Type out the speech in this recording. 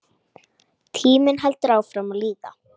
Tíminn heldur áfram að líða.